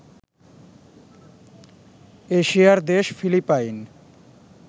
এশিয়া'র দেশ ফিলিপাইন